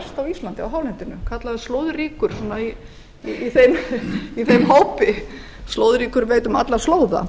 á íslandi á hálendinu kallaður slóðríkur í þeim hópi slóðríkur veit um alla slóða